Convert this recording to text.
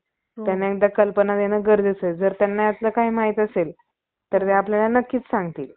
क्षुद्रांच्या मनात आमच्या, दयाळू इंग्रज सरकारचा द्वेष भरविण्याची कल्पना का~ कातीली ती कोणती?